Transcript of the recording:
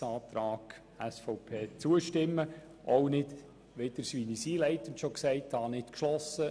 Es ist nicht klar, worin sie sich genau unterscheiden.